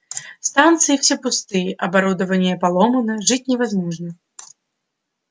станции все пустые оборудование поломано жить невозможно